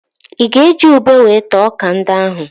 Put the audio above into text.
Ị ga-eji ube wee taa ọ́kà ndị ahụ?